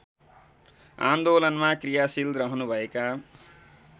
आन्दोलनमा क्रियाशील रहनुभएका